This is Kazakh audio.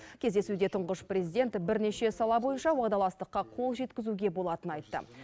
кездесуде тұңғыш президент бірнеше сала бойынша уағдаластыққа қол жеткізуге болатынын айтты